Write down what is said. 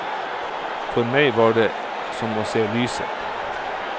For meg var det som å se lyset.